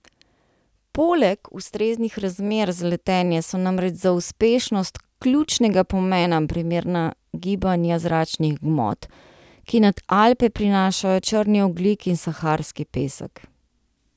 Poleg ustreznih razmer za letenje so namreč za uspešnost ključnega pomena primerna gibanja zračnih gmot, ki nad Alpe prinašajo črni ogljik in saharski pesek.